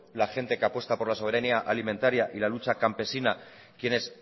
la gente que apuesta por la soberanía alimentaria y la lucha campesina quienes